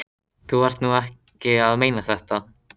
Þú ert nú ekki að meina þetta!